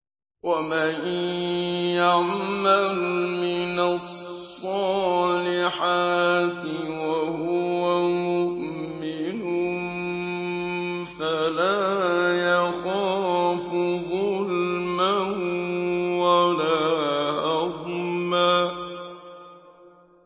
وَمَن يَعْمَلْ مِنَ الصَّالِحَاتِ وَهُوَ مُؤْمِنٌ فَلَا يَخَافُ ظُلْمًا وَلَا هَضْمًا